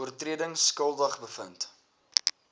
oortredings skuldig bevind